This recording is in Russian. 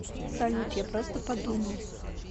салют я просто подумал